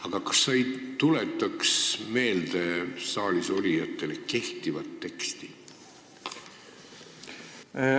Aga kas sa ei tuletaks saalis olijatele meelde kehtivat teksti?